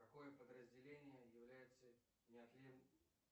какое подразделение является